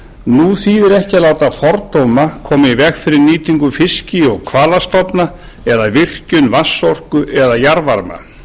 nú þýðir ekki að láta fordóma koma í veg fyrir nýtingu fiski og hvalastofna eða virkjun vatnsorku eða jarðvarma